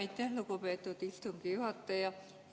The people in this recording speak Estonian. Aitäh, lugupeetud istungi juhataja!